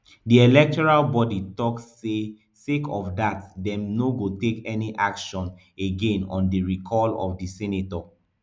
di electoral body tok say sake of dat dem no go take any action again on di recall of di senator